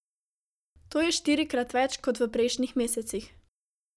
To je štirikrat več kot v prejšnjih mesecih.